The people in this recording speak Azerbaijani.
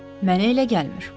Mənə elə gəlmir.